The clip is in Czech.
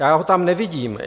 Já ho tam nevidím.